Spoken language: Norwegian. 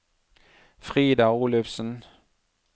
Frida Olufsen